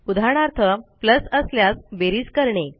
उदाहरणार्थ असल्यास बेरीज करणे